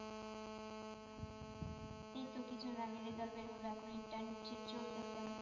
এইতো কিছুদিন আগে result বের হলো এখন internship চলছে তো,